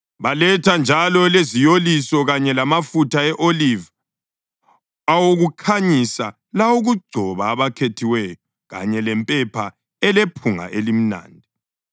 Baletha njalo leziyoliso kanye lamafutha e-oliva awokukhanyisa lawokugcoba abakhethiweyo kanye lempepha elephunga elimnandi.